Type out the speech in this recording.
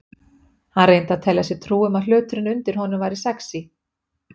Hann reyndi að telja sér trú um að hluturinn undir honum væri sexí.